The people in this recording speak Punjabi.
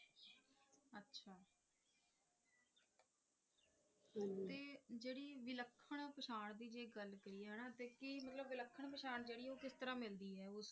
ਵਿਲੱਖਣ ਪਛਾਣ ਦੀ ਜੇ ਗੱਲ ਕਰੀਏ ਹਨਾਂ ਤਾਂ ਕੀ ਮਤਲਬ ਵਿਲੱਖਣ ਪਛਾਣ ਜਿਹੜੀ ਆ ਉਹ ਕਿਸ ਤਰਾਂ ਮਿਲਦੀ ਐ